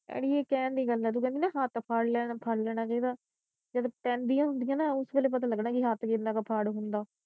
ਅੜੀਏ ਕਹਿਣ ਦੀਆ ਗੱਲਾਂ ਤੂੰ ਕਹਿੰਦੀ ਨਾ ਹੱਥ ਫੜ ਲੈਣਾ ਫੜ ਲੈਣਾ ਚਾਹੀਦਾ ਜਦ ਪੈਂਦੀਆਂ ਹੁੰਦੀਆਂ ਨਾ ਉਸੇ ਵੇਲੇ ਪਤਾ ਲਗਣਾ ਕੀ ਹੱਥ ਕਿੰਨਾ ਕਾ ਫੜ ਹੁੰਦਾ।